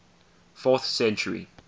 fourth century